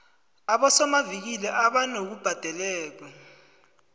abosomavikili abanabubhadekelo